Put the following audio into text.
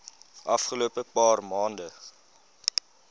afgelope paar maande